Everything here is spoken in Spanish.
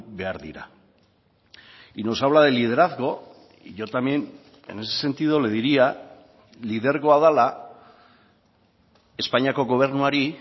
behar dira y nos habla de liderazgo y yo también en ese sentido le diría lidergoa dela espainiako gobernuari